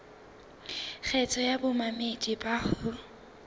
kgetho ya bamamedi bao ho